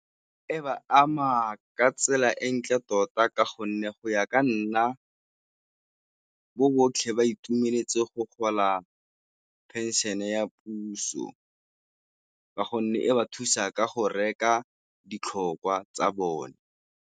E ba ama ka tsela e ntle tota ka gonne go ya ka nna bo botlhe ba itumeletse go gola pension ya puso, ka gonne e ba thusa ka go reka ditlhokwa tsa bone.